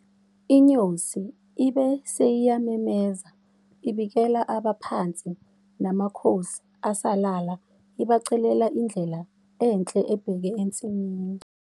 INyosi ibe seyiyamemeza ibikela abaphansi namakhosi asalala ibacelela indlela enhle ebheke ensimini.